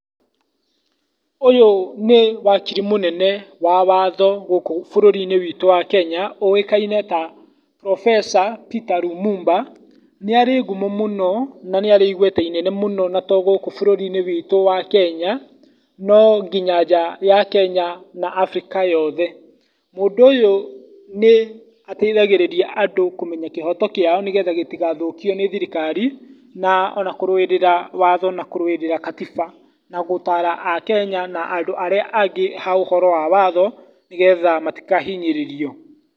Ũyũ nĩ wakiri mũnene wa watho gũkũ bũrũri-inĩ witũ wa Kenya ũĩkaine ta Professor Peter Lumumba, nĩ arĩ ngumo mũno na nĩ arĩ igweta inene mũno ona to gũkũ bũrũrinĩ witũ wa Kenya nonginya nja ya Kenya na Afrika yothe. Mũndũ ũyũ nĩ ateithagĩrĩria andũ kũmenya kĩhoto kĩao nĩgetha gĩtĩgathũkio nĩ thirikari na ona kũrũĩrĩra watho na kũrũĩrĩra katiba na gũtara Akenya na andũ arĩa angĩ ũhoro wa watho nĩgetha matikahinyĩrĩrio.